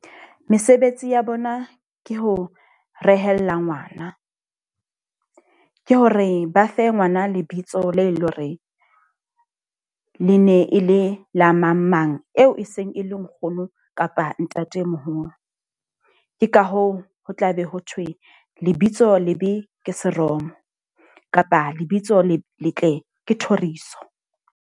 Mesebetsi ya bona ke ho rehella ngwana. Ke hore ba fe ngwana lebitso le leng hore le ne e le la mang mang eo e seng e le nkgono kapa ntatemoholo. Ke ka hoo ho tla be ho thwe lebitso lebe ke seromo. Kapa lebitso le letle ke thoriso.